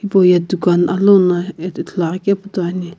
hipau ye dukan alouno ad ithulu aghikepu toiani.